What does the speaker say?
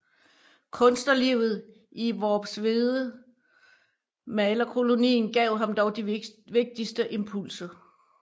Kunstnerlivet i Worpswedemalerkolonien gav ham dog de vigtigste impulser